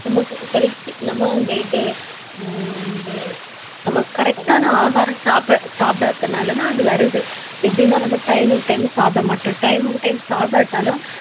நமக்கு health நம்ம இந்த இது ஹம் இது இந்த நமக்கு correct ஆன ஆகாரம் சாப்பிட~ சாப்பிடாதனால தான் அது வருது. எப்படின்னா நம்ம time க்கு time சாப்பிட மாட்டோம் time க்கு time சாப்பிடாட்டாலும்